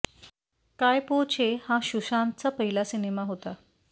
काय पो छे हा सुशांतचा पहिला सिनेमा होता